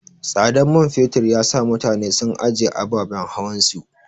Tsadan mai fetur yasa mutane sun anjiye ababen hawan su.